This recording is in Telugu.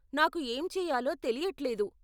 నాకు ఏం చేయాలో తెలియట్లేదు.